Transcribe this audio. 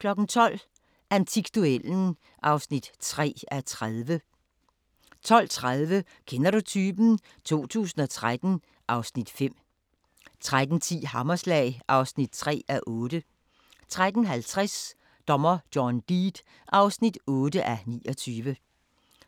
12:00: Antikduellen (3:30) 12:30: Kender du typen? 2013 (Afs. 5) 13:10: Hammerslag (3:8) 13:50: Dommer John Deed (8:29)